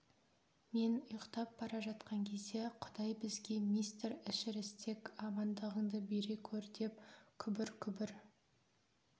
мен ұйықтап бара жатқан кезде құдай бізге мистер эшерестек амандығыңды бере көр деп күбір-күбір